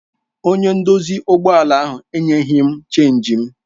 Onye nduzi ụgbọ ala enyeghị m Chénjị m.